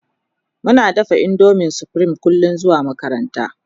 Muna dafa indomin supreme kullum zuwa makaranta